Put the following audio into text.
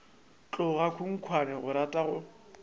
tloga khunkhwane o rata go